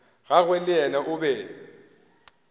gagwe le yena o be